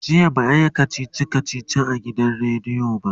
jiya ba'a Yi kachichi kachichi a gidan rediyo ba